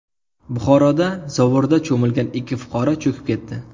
Buxoroda zovurda cho‘milgan ikki fuqaro cho‘kib ketdi.